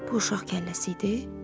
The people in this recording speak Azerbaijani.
Bu uşaq kəlləsi idi?